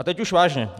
A teď už vážně.